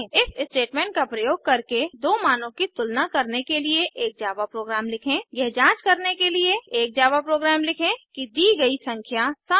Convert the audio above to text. if statement का प्रयोग करके दो मानों की तुलना करने के लिए एक जावा प्रोग्राम लिखें यह जांच करने के लिए एक जावा प्रोग्राम लिखें कि दी गई संख्या सम है या विषम है